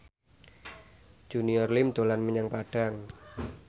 Junior Liem dolan menyang Padang